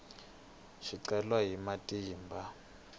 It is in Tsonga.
swicelwa ni matimba